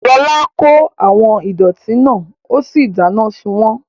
Lọlá kó àwọn ìdọ̀ọ̀tí náà ó sì dáná sun wọ́n